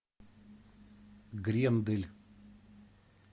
грендель